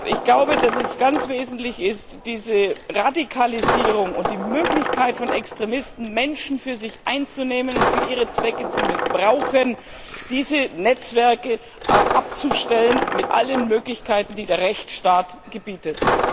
Ich glaube, dass es ganz wesentlich ist, diese Radikalisierung und die Möglichkeit von Extremisten, Menschen für sich einzunehmen und für ihre Zwecke zu missbrauchen, diese Netzwerke abzustellen mit allen Möglichkeiten, die der Rechtsstaat gebietet.